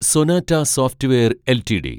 Sonata software LTD